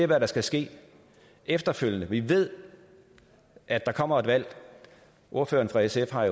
hvad der skal ske efterfølgende vi ved at der kommer et valg ordføreren fra sf har